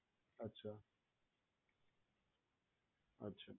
અચ્છા અચ્છા